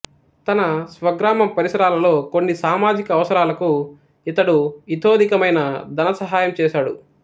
తన స్వగ్రామం పరిసరాలలో కొన్ని సామాజిక అవసరాలకు ఇతడు ఇతోధికమైన ధన సహాయం చేశాడు